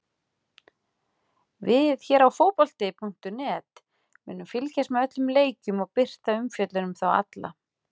Við hér á fótbolti.net munum fylgjast með öllum leikjunum og birta umfjöllun um þá alla.